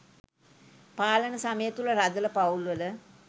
පාලන සමය තුළ රදළ පවුල්වල